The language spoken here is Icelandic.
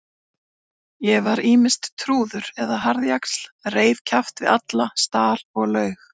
Ég var ýmist trúður eða harðjaxl, reif kjaft við alla, stal og laug.